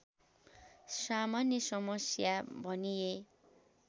सामान्य समस्या भनिए